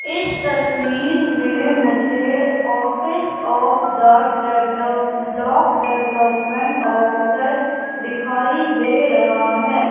इस तस्वीर में मुझे office of the develop block development officer दिखाई दे रहा है।